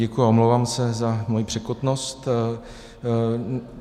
Děkuji a omlouvám se za svoji překotnost.